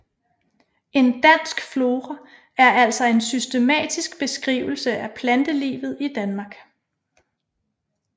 En dansk flora er altså en systematisk beskrivelse af plantelivet i Danmark